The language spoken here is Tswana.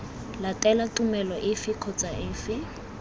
latela tumelo efe kgotsa efe